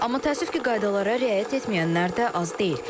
Amma təəssüf ki, qaydalara riayət etməyənlər də az deyil.